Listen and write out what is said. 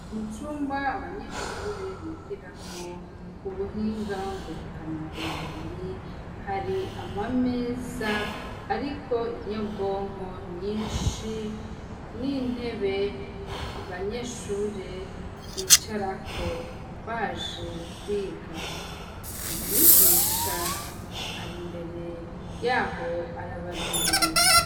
Mu cumba abanyeshure bigiramwo ubuhinga nguruka na bumenyi, hari amameza ariko inyabwonko nyinshi, n'intebe abanyeshure bicarako baje kwiga, umwigisha ari imbere yaho arabarindiriye.